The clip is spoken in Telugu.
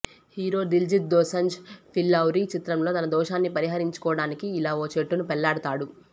హీరో దిల్జీత్ దోసంజ్ ఫిల్లౌరీ చిత్రంలో తన దోషాన్ని పరిహరించుకోడానికి ఇలా ఓ చెట్టును పెళ్లాడతాడు